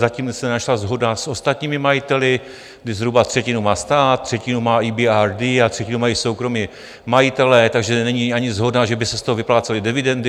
Zatím se nenašla shoda s ostatními majiteli, kdy zhruba třetinu má stát, třetinu má EBRD a třetinu mají soukromí majitelé, takže není ani shoda, že by se z toho vyplácely dividendy.